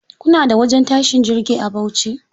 Kuna da wajen tashin jirgi a Bauchi?